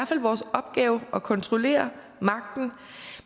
fald vores opgave at kontrollere magten